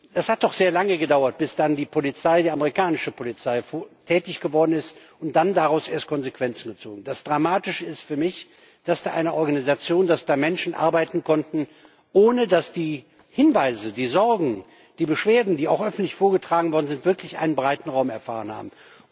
Es hat doch sehr lange gedauert, bis dann die amerikanische Polizei tätig geworden ist und dann daraus erst Konsequenzen gezogen wurden. Das Dramatische ist für mich, dass da eine Organisation, dass da Menschen arbeiten konnten, ohne dass die Hinweise, die Sorgen, die Beschwerden, die auch öffentlich vorgetragen worden sind, wirklich einen breiten Raum erfahren haben.